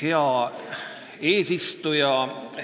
Hea eesistuja!